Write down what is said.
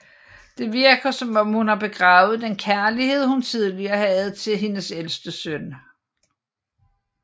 Det virker som om hun har begravet den kærlighed hun tidligere havde til hendes ælste søn